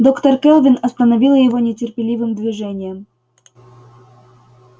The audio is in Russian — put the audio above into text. доктор кэлвин остановила его нетерпеливым движением